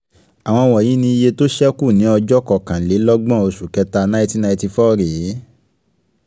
àwọn wọ̀nyí ni iye tó ṣẹ́ kù ní ọjọ́ kọkàn-lé-lọ́gbọ̀n oṣù kẹta nineteen ninety four rèé: